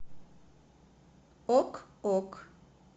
ок ок